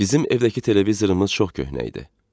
Bizim evdəki televizorımız çox köhnə idi.